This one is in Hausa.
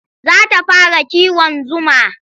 Za ta fara kiwon zuma.